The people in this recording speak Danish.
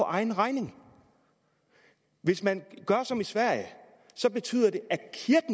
egen regning hvis man gør som i sverige betyder det